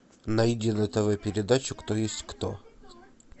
найди на тв передачу кто есть кто